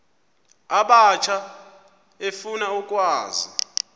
abatsha efuna ukwazi